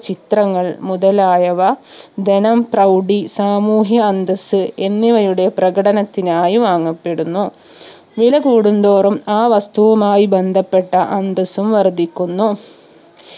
ചിത്രങ്ങൾ മുതലായവ ധനം പ്രൗഡി സാമൂഹ്യ അന്തസ്സ് എന്നിവയുടെ പ്രകടനത്തിനായി വാങ്ങപ്പെടുന്നു വിലകൂടുന്തോറും ആ വസ്തുവുമായി ബന്ധപ്പെട്ട അന്തസ്സും വർധിക്കുന്നു